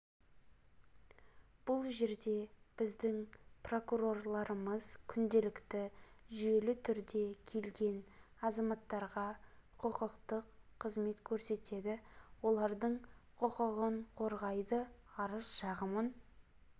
бұл жерде біздің прокурорларымыз күнделікті жүйелі түрде келген азаматтарға құқықтық қызмет көрсетеді олардың құқығын қорғайды арыз-шағымын